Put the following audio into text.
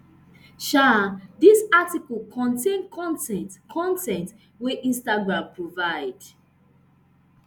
um dis article contain con ten t con ten t wey instagram provide